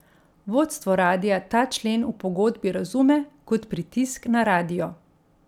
Vodstvo radia ta člen v pogodbi razume kot pritisk na radio.